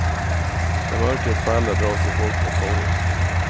När mörkret faller drar sig folk mot torget.